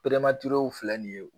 filɛ nin ye